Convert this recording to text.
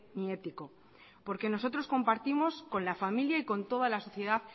ni ético porque nosotros compartimos con la familia y con toda la sociedad